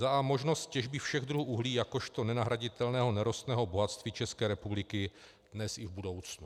a) možnosti těžby všech druhů uhlí jakožto nenahraditelného nerostného bohatství České republiky dnes i v budoucnu;